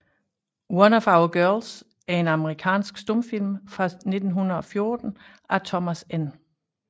One of Our Girls er en amerikansk stumfilm fra 1914 af Thomas N